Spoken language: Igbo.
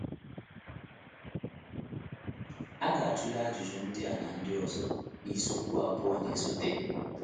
A ga-atụle ajụjụ ndị a na ndị ọzọ n’isiokwu abụọ na-esote.